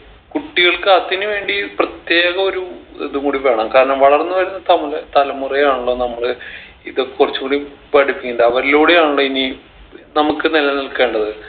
കുട്ടികൾക്ക് അതിന് വേണ്ടി പ്രത്യേക ഒരു ഇതുംകൂടി വേണം കാരണം വളർന്നു വരുന്ന തമുല തലമുറയാണല്ലോ നമ്മള് ഇതൊക്കെ കൊർച്ചുകൂടി പഠിക്കണ്ടെ അവരിലൂടെയാണല്ലോ ഇനി നമ്മക്ക് നിലനിൽക്കേണ്ടത്